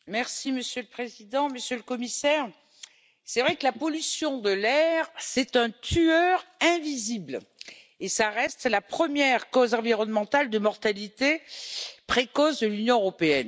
Monsieur le Président, Monsieur le Commissaire, il est vrai que la pollution de l'air est un tueur invisible qui reste la première cause environnementale de mortalité précoce de l'Union européenne.